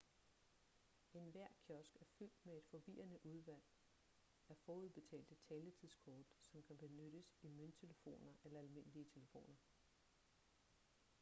enhver kiosk er fyldt med et forvirrende udvalg af forudbetalte taletidskort som kan benyttes i mønttelefoner eller almindelige telefoner